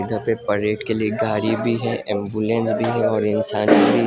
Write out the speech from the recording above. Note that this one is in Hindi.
इधर पे परेड के लिए गाड़ी भी है एम्बुलेंस भी है और इंसान भी।